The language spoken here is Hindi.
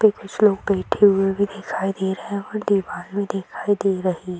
देख कुछ लोग बैठे हुए भी दिखाई दे रहे हैं और दीवाल भी दिखाई दे रही --